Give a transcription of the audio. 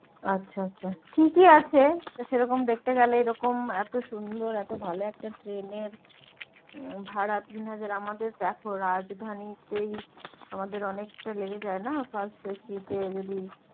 আচ্ছা আচ্ছা ঠিকই আছে তো সেরকম দেখতে গেলে এরকম এত সুন্দুর এত ভালো একটা ট্রেনের ভাড়া তিন হাজার আমাদের দেখো রাজধানীতেই আমাদের অনেকটা লেগে যায় না first AC তে যদি